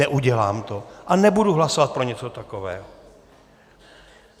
Neudělám to a nebudu hlasovat pro něco takového.